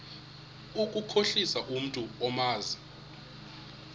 ukukhohlisa umntu omazi